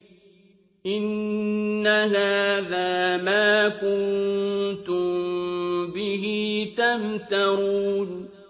إِنَّ هَٰذَا مَا كُنتُم بِهِ تَمْتَرُونَ